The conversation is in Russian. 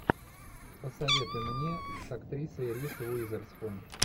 посоветуй мне с актрисой риз уизерспун